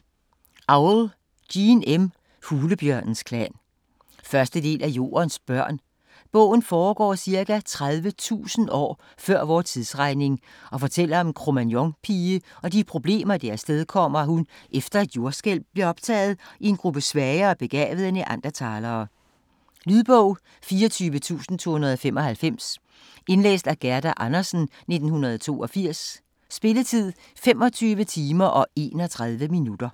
Auel, Jean M.: Hulebjørnens klan 1. del af Jordens børn. Bogen foregår ca. 30.000 år før vor tidsregning og fortæller om en Cro-Magnon-pige og de problemer det afstedkommer, at hun efter et jordskælv bliver optaget i en gruppe svagere begavede Neanderthalere. Lydbog 24295 Indlæst af Gerda Andersen, 1982. Spilletid: 25 timer, 31 minutter.